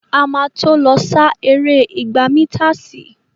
A má tó lọ sá eré igba mításìì.